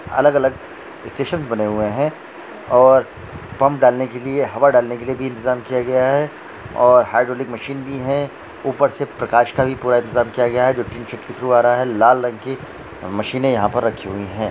अलग-अलग स्टेशन्स बने हुए है और पंप डालने के लिए हवा डालने के लिए भी इंतज़ाम किया गया है और ह्य्द्रौलिक मशीन भी है ऊपर से प्रकाश का भी पूरा इंतज़ाम किया गया है जो की के थ्रू आ रहा है लाल रंग की मशीने यहाँ पर रखी हुई है।